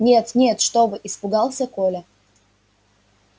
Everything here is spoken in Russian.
нет нет что вы испугался коля